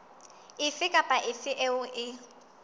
efe kapa efe eo e